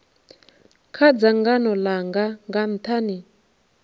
kha dzangano langa nga nthani